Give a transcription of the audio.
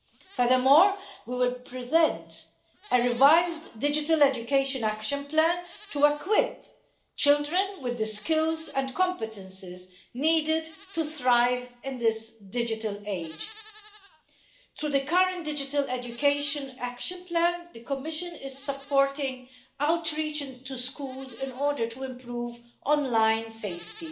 Furthermore, we will present a revised digital education action plan to equip children with the skills and competences needed to thrive in this digital age. Through the current Digital Education Action Plan, the Commission is supporting outreach to schools in order to improve online safety,